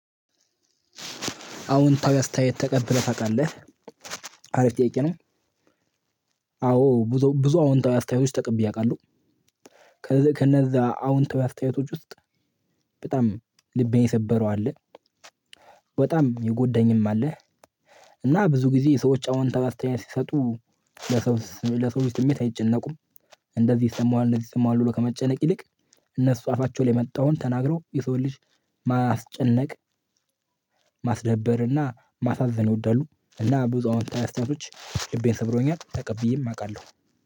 አውንታዊ አስተያየት ተቀብለህ ታውቃለህ አሪፍ ጥያቄ ነው። አዎ ብዙ ብዙ አዎንታዊ አስተያየቶች ውስጥ ተቀብዬ አውቃለሁ። ከነዛ አውንታዊ አስተያየቶች ውስጥ። በጣም ልቤን የሰበረው አለ። በጣም የጎዳኝም አለ። እና ብዙ ጊዜ የሰዎች አውንታዊ አስተያየት ሲሰጡ ለሰው ለሰው ውስጥ በቤት አይጨነቁም። እንደዚህ ይሰማዋል እንደዚህ ይሰማዋል ብሎ ከመጨነቅ ይልቅ። እነሱ አፋቸው ላይ የመጣውን ተናግረው የሰው ልጅ ማስጨነቅ። ማስደበር እና ማሳዘን ይወዳሉ። እና ብዙ አውታዊ አስተያየቶች ልቤን ስብሮኛል ተቀብዬም አውቃለሁ።